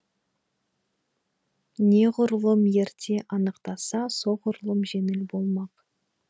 неғұрлым ерте анықтаса соғырлұм жеңіл болмақ